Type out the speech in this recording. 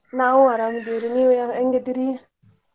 ನಾವು ಅರಾಮ್ ಅದಿವ್ ರೀ ನೀವ್ ಹೆಂಗ್ ಅದಿರೀ?